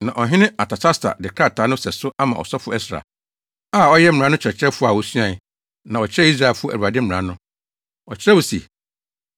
Na ɔhene Artasasta de krataa no sɛso ama ɔsɔfo Ɛsra, a ɔyɛ mmara no kyerɛkyerɛfo a osuae, na ɔkyerɛɛ Israelfo Awurade mmara no. Ɔkyerɛw se: